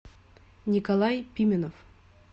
николай пименов